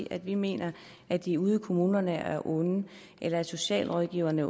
at vi mener at de ude i kommunerne er onde eller at socialrådgiverne